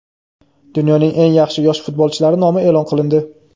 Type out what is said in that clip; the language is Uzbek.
Dunyoning eng yaxshi yosh futbolchilari nomi e’lon qilindi.